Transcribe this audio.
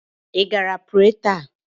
Ị gara pre taa?